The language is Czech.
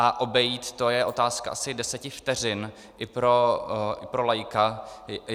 A obejít - to je otázka asi deseti vteřin i pro laika.